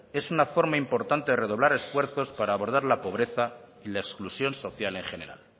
es una forma importante de redoblar esfuerzos para abordar la pobreza y la exclusión social en general